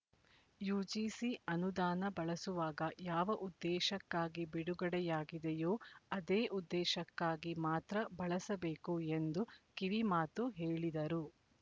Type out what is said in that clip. UGC ಅನುದಾನ ಬಳಸುವಾಗ ಯಾವ ಉದ್ದೇಶಕ್ಕಾಗಿ ಬಿಡುಗಡೆಯಾಗಿದೆಯೋ ಅದೇ ಉದ್ದೇಶಕ್ಕಾಗಿ ಮಾತ್ರ ಬಳಸಬೇಕು ಎಂದು ಕಿವಿಮಾತು ಹೇಳಿದರು